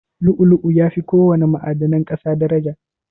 Lu'u-lu'u yafi ko wana ma'adanan ƙasa daraja.